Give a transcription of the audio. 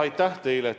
Aitäh teile!